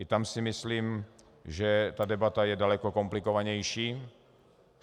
I tam si myslím, že ta debata je daleko komplikovanější.